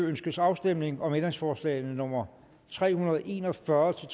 ønskes afstemning om ændringsforslag nummer tre hundrede og en og fyrre til